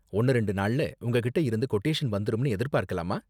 ஒன்னு ரெண்டு நாள்ல உங்ககிட்ட இருந்து கொட்டேஷன் வந்துரும்னு எதிர்பார்க்கலாமா?